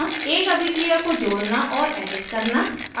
एक अभिक्रिया को जोड़ना और edit करना